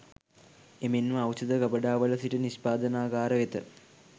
එමෙන්ම ඖෂධ ගබඩාවල සිට නිෂ්පාදනාගාරය වෙත